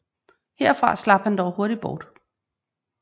Herfra slap han dog hurtig bort